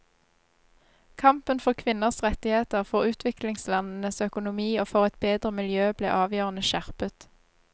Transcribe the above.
Kampen for kvinners rettigheter, for utviklingslandenes økonomi og for et bedre miljø ble avgjørende skjerpet.